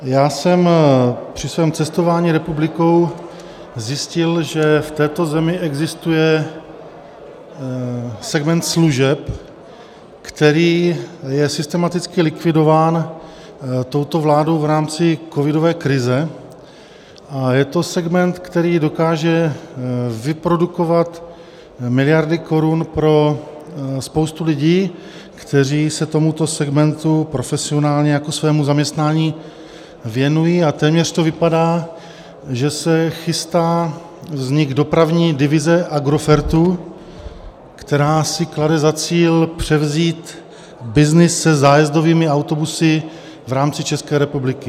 Já jsem při svém cestování republikou zjistil, že v této zemi existuje segment služeb, který je systematicky likvidován touto vládou v rámci covidové krize, a je to segment, který dokáže vyprodukovat miliardy korun pro spoustu lidí, kteří se tomuto segmentu profesionálně jako svému zaměstnání věnují, a téměř to vypadá, že se chystá vznik dopravní divize Agrofertu, která si klade za cíl převzít byznys se zájezdovými autobusy v rámci České republiky.